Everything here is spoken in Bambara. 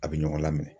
A bɛ ɲɔgɔn lamɛn